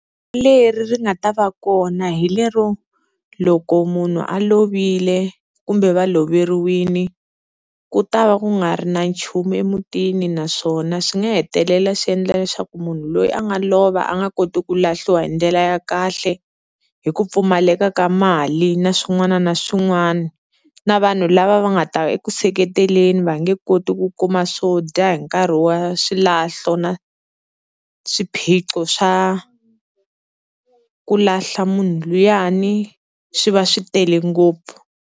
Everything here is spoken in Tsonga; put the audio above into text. Leri ri nga ta va kona hi lero loko munhu a lovile kumbe va loveriwile, ku ta va ku nga ri na nchumu emutini naswona swi nga hetelela swi endla leswaku munhu loyi a nga lova a nga koti ku lahliwa hi ndlela ya kahle, hi ku pfumaleka ka mali na swin'wana na swin'wana. Na vanhu lava va nga ta eku seketeleni va nge koti ku kuma swo dya hi nkarhi wa swilahlo na swiphiqo swa ku lahla munhu luyani swi va swi tele ngopfu.